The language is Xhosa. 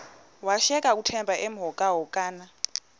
washiyeka uthemba emhokamhokana